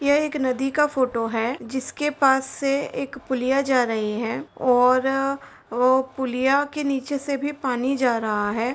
ये एक नदी का फोटो है। जिसके पास से एक पुलिया जा रही है और वो पुलिया के नीचे से भी पानी जा रहा है।